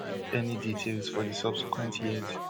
e no give any details for di subsequent years